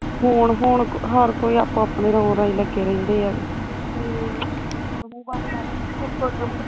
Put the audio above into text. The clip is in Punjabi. ਹੁਣ ਹੁਣ ਹਰ ਕੋਈ ਅਪਣੇ ਅਪਣੇ ਰੋ ਰਾਈ ਲੱਗੇ ਰਹਿੰਦੇ ਆ ਤੇ ਹਮ